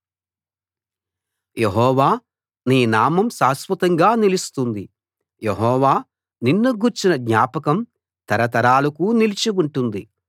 యెహోవా నీ నామం శాశ్వతంగా నిలుస్తుంది యెహోవా నిన్ను గూర్చిన జ్ఞాపకం తరతరాలకు నిలిచి ఉంటుంది